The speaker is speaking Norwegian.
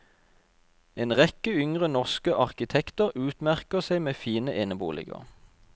En rekke yngre norske arkitekter utmerker seg med fine eneboliger.